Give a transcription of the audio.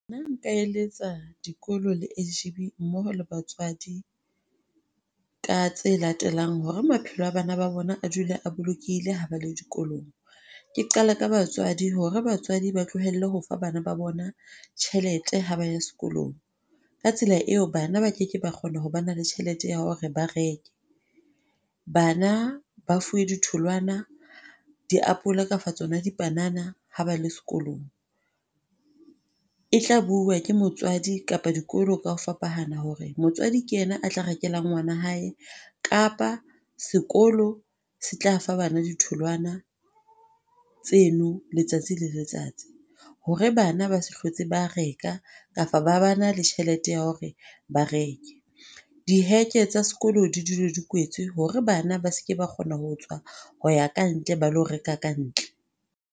Nna nka eletsa dikolo le S_G_B ha mmoho le batswadi ka tse latelang hore maphelo a bana ba bona a dule a bolokehile ha ba le dikolong. Ke qala ka batswadi hore batswadi ba tlohelle ho fa bana ba bona tjhelete ha ba ya sekolong. Ka tsela eo, bana ba ke ke ba kgona ho ba le tjhelete ya hore ba reke. Bana ba fuwe ditholwana. Diapole kapa tsona dipanana ha ba le sekolong. E tla buuwa ke motswadi kapa dikolo ka ho fapana hore motswadi ke yena a tla rekela ngwana hae kapa sekolo se tla fa bana ditholwana tseno letsatsi le letsatsi hore bana ba se hlotse ba reka kapa ba ba na le tjhelete ya hore ba reke. Diheke tsa sekolo di dule di kwetswe hore bana ba se ke ba kgona ho tswa ho ya kantle, ba ilo reka kantle.